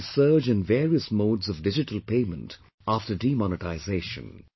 There has been a surge in various modes of digital payment after demonetisation